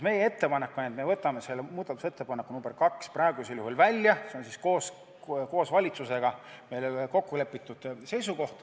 Meie ettepanek on võtta see muudatusettepanek nr 2 praegu välja, see on meil valitsusega kokku lepitud.